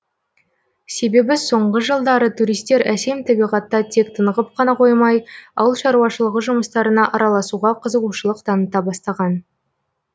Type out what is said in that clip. себебі соңғы жылдары туристер әсем табиғатта тек тынығып қана қоймай ауыл шаруашылығы жұмыстарына араласуға қызығушылық таныта бастаған